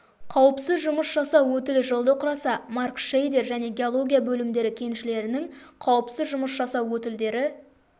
қауіпсіз жұмыс жасау өтілі жылды құраса маркшейдер және геология бөлімдері кеншілерінің қауіпсіз жұмыс жасау өтілдері